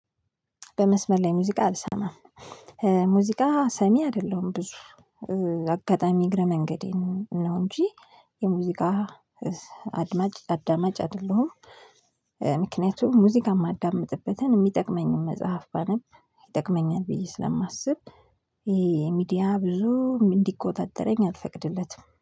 በመስመር ላይ ሙዚቃ አልሰማም። ሙዚቃ ሰሚ አይደለሁም ብዙ። አጋጣሚ እግረ መንገዴን ነው እንጂ የሙዚቃ አድማጭ አዳማጭ አይደለሁም። ምክንያቱም ሙዚቃ የማዳምጥበትን የሚጠቅመኝን መጽሐፍ ባነብ ይጠቅመኛል ብዬ ስለማስብ፤ ይሄ የሚዲያ ብዙም እንዲቆጣጠረኝ አልፈቅድለትም።